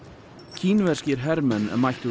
kínverskir hermenn mættu